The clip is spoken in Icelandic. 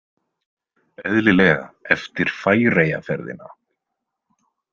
Eðlilega eftir Færeyjaferðina.